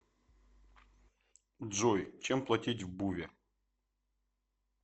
джой чем платить в буве